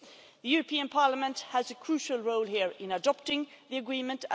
The European Parliament has a crucial role here in adopting the agreement.